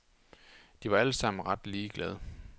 De var alle sammen ret ligeglade.